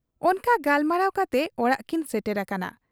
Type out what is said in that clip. ᱚᱱᱠᱟ ᱜᱟᱯᱟᱞᱢᱟᱨᱟᱣ ᱠᱟᱛᱮ ᱚᱲᱟᱜ ᱠᱤᱱ ᱥᱮᱴᱮᱨ ᱟᱠᱟᱱᱟ ᱾